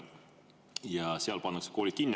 Ja seal pannakse koolid kinni.